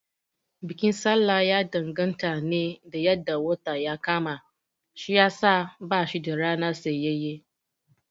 Bikin sallah ya danganta ne da yadda wata ya kama shiyasa bashi da rana tsayayyen